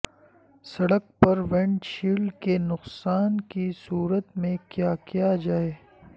سڑک پر ونڈشیلڈ کے نقصان کی صورت میں کیا کیا جائے